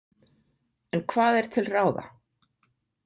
En hvað er til ráða?